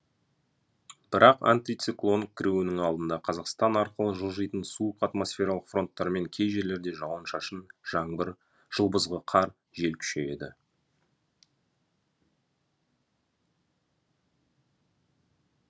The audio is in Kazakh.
бірақ антициклон кіруінің алдында қазақстан арқылы жылжыйтын суық атмосфералық фронттармен кей жерлерде жауын шашын жаңбыр жылбызғы қар жел күшейеді